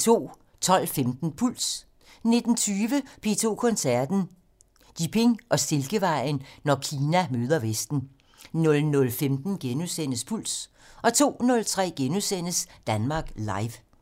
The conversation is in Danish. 12:15: Puls 19:20: P2 Koncerten - Jiping og Silkevejen - når Kina møder vesten 00:15: Puls * 02:03: Danmark Live *